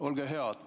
Olge hea!